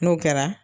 N'o kɛra